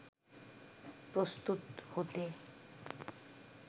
প্রস্তুত হতে